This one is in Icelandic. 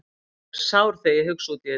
Ég verð sár þegar ég hugsa út í þetta.